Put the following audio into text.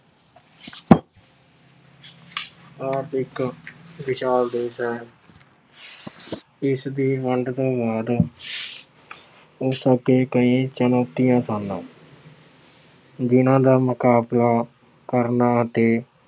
ਭਾਰਤ ਇੱਕ ਵਿਸ਼ਾਲ ਦੇਸ਼ ਹੈ। ਇਸਦੀ ਵੰਡ ਤੋਂ ਬਾਅਦ ਉਸ ਅੱਗੇ ਕਈ ਚੁਣੌਤੀਆਂ ਸਨ। ਜਿੰਨ੍ਹਾ ਦਾ ਮੁਕਾਬਲਾ ਕਰਨਾ ਅਤੇ